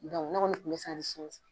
ne kɔni kun be san ni